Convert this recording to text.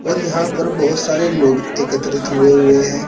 और यहां पर बहुत सारे लोग एकत्रित हुए हुए है।